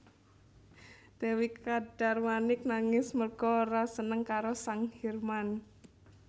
Dèwi Kadarmanik nangis merga ora seneng karo sang Hirman